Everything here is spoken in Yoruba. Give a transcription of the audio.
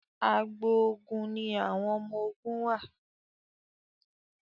àgbò oògùn ní àwọn ọmọ oògùn wá.